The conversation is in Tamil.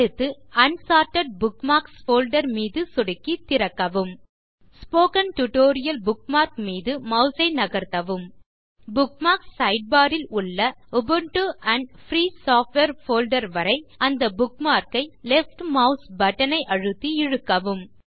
அடுத்து அன்சார்ட்டட் புக்மார்க்ஸ் போல்டர் மீது சொடுக்கி திறக்கவும் ஸ்போக்கன் டியூட்டோரியல் புக்மார்க் மீது மாஸ் ஐ நகர்த்தவும் இப்போது புக்மார்க்ஸ் சைட்பார் ல் உள்ள Ubuntu and free software folder வரை அந்த புக்மார்க் ஐ லெஃப்ட் மாஸ் பட்டன் ஐ அழுத்தி இழுக்கவும்